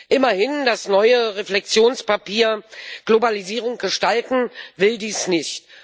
Immerhin, das neue Reflexionspapier Globalisierung gestalten will dies nicht.